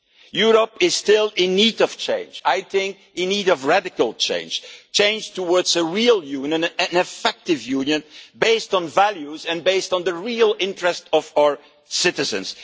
Europe is still in need of change, I think in need of radical change change towards a real Union, an effective Union based on values and based on the real interests of our citizens.